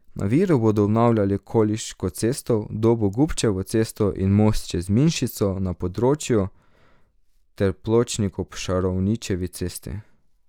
Na Viru bodo obnavljali Koliško cesto, v Dobu Gubčevo cesto in most čez Mlinščico na Podrečju ter pločnik ob Šaranovičevi cesti.